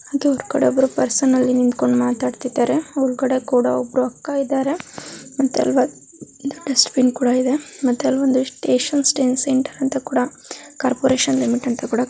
ಅದು ಅಲ್ಲಿ ಒಬ್ರು ಪರ್ಸನಲ್ ನಿಂತ್ಕೊಂಡ್ ಮಾತಾಡ್ತಾಯಿದ್ದಾರೆ ಒಬ್ರು ಅಕ್ಕ ಇದಾರೆ ಒಂದು ಡಸ್ಟ್ ಬಿನ್ ಇದೆಮತ್ತೆ ಅಲ್ಲಿ ಒಂದ್ ಕಾರ್ಪೊರೇಷನ್ ಲಿಮಿಟ್ .